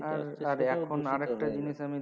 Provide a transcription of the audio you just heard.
আর এখন আর একটা জিনিস আমি